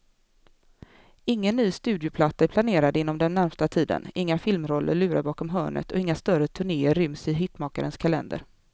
Ingen ny studioplatta är planerad inom den närmaste tiden, inga filmroller lurar bakom hörnet och inga större turnéer ryms i hitmakarens kalender.